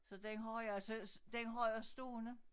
Så den har jeg så den har jeg stående